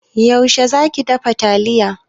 Yaushe za ki dafa taliyar?